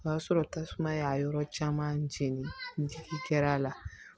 O y'a sɔrɔ tasuma y'a yɔrɔ caman jeni n jigi kɛr'a la